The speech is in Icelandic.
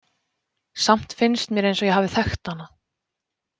Samt finnst mér eins og ég hafi þekkt hana.